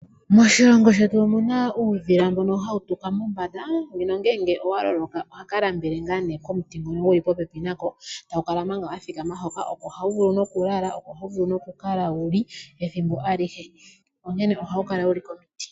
Moshilongo shetu omuna uudhila mbono hawu tuka mombanda nongele owa loloka ohaka lambele ngaa nee komuti ngono guli popepi nako tawu kala manga wa thikama hoka. Oko hawu vulu nokulala, oko hawu vulu nokukala wuli ethimbo alihe, onkene ohawu kala wuli komiti.